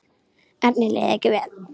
Erni leið ekki vel.